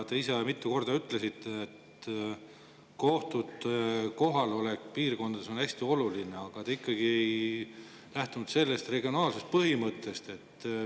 Te ise mitu korda ütlesite, et kohtute kohalolek piirkondades on hästi oluline, aga te ikkagi ei lähtunud regionaalsuse põhimõttest.